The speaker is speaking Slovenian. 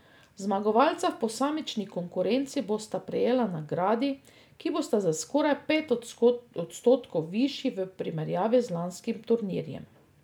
Zmagovalca v posamični konkurenci bosta prejela nagradi, ki bosta za skoraj pet odstotkov višji v primerjavi z lanskim turnirjem.